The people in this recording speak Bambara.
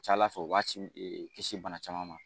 ca Ala fɛ o b'a kisi bana caman ma.